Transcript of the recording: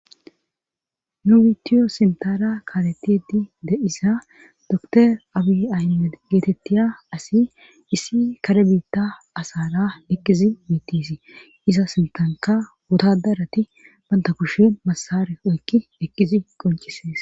Nu wiitiyo simtara kaaretidi de7isa dotor abi ayne geetettiya asi issi kare biitta asara ekizi miittisii iza sintanka gotadarati banta kushen masare oykki eqqizi qoncisees